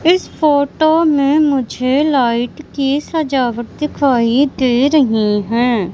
इस फोटो में मुझे लाइट की सजावट दिखाई दे रही हैं।